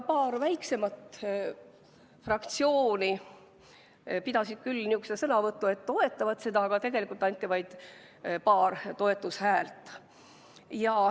Paar väiksemat fraktsiooni pidasid küll sellise sõnavõtu, et toetavad seda eelnõu, aga tegelikult anti vaid paar toetushäält.